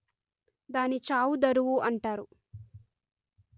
దాని చావు దరువు అంటారు